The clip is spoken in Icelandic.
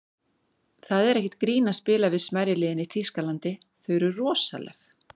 Það er ekkert grín að spila við smærri liðin í Þýskalandi, þau eru rosaleg.